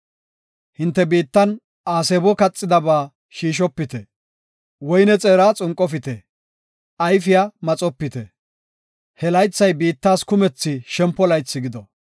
Hinte biittan aasebo kaxidaba shiishopite; woyne xeera xunqofite; ayfiya maxopite. He laythay biittas kumethi shempo laythi gido.